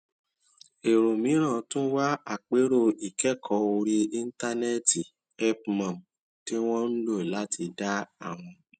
èrò mìíràn tún wá àpérò ìkékòó orí íńtánéètì help mum tí wón ń lò láti dá àwọn